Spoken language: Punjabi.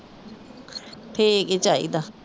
ਠੀਕ ਹੀਂ ਚਾਹੀਦਾ